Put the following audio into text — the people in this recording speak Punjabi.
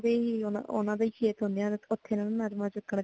ਓਨਾ ਦੇ ਹੀ ਓਨਾ ਦੇ ਹੀ ਓ ਨਰਮਾ ਚੁੱਕਣ ਜਾਂਦੇ ਹੁੰਦੇ ਆ